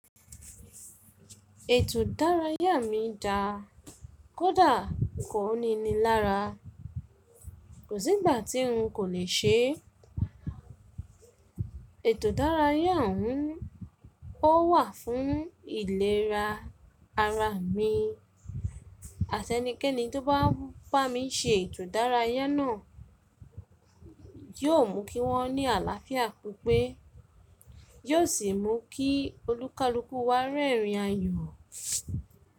Ètò ìdárayá mi dà, kódà kò níni lára. Kò sí ìgbà tí n kò lè ṣe. Ètò ìdárayá òhun ó wà fún ìlera ara mi, àti ẹnikẹ́ni tó bá bá mi ṣe ètò ìdárayá náà yóò mú kí wọ́n ní àlàáfíà pipe, yóò sì mú kí olúkalúkù wá rẹ́rìn ayọ̀.